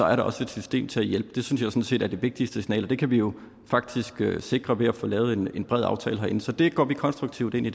er der også et system til at hjælpe det synes jeg sådan set er det vigtigste signal det kan vi jo faktisk sikre ved at få lavet en bred aftale herinde så det arbejde går vi konstruktivt ind i